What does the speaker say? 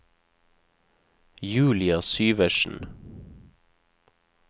Julia Syversen